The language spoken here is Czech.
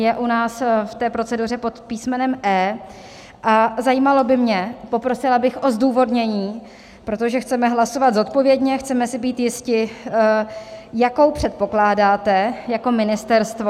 Je u nás v té proceduře pod písmenem E a zajímalo by mě, poprosila bych o zdůvodnění, protože chceme hlasovat zodpovědně, chceme si být jisti: Jakou předpokládáte jako ministerstvo...